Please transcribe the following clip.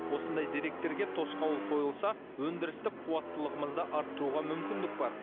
осындай деректерге тосқауыл қойылса өндірістік қуаттылығымызды арттыруға мүмкіндік бар